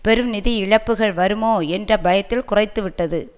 பெரும் நிதி இழப்புக்கள் வருமோ என்ற பயத்தில் குறைத்துவிட்டது